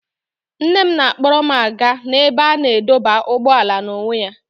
Nne m na-akpọrọ m aga n'ebe a na-adọba ụgbọala n'onwe ya.